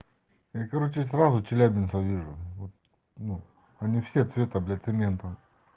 сразу челябинска вижу вот они все таблетки минуту